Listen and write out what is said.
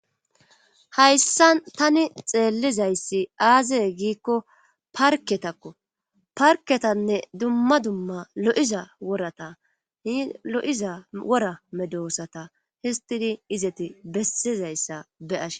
Hayssa tani xeellizayssi aaze giikko parketakko parketanne dumma dumma lo'iza worata hi lo'iza wora medoosata histidi izeti bessizayssa be ashe.